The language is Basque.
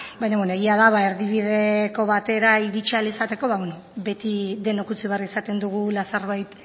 baina beno egia da erdibideko batera iritsi ahal izateko beti denok utzi behar izaten dugula zerbait